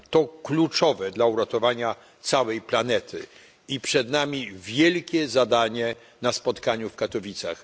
To kluczowe dla uratowania całej planety i przed nami wielkie zadanie na spotkaniu w Katowicach.